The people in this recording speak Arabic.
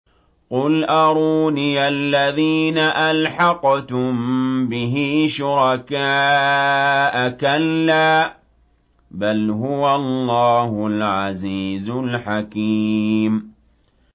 قُلْ أَرُونِيَ الَّذِينَ أَلْحَقْتُم بِهِ شُرَكَاءَ ۖ كَلَّا ۚ بَلْ هُوَ اللَّهُ الْعَزِيزُ الْحَكِيمُ